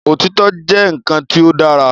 Òtítọ́ jẹ́ nǹkan tí ó dára